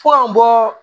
Fo ka bɔ